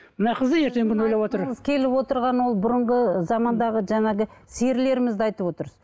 мына қыз да ертеңгі күнін ойлап отыр айтқыңыз келіп отырғаны ол бұрынғы замандағы жаңағы серілерімізді айтып отырсыз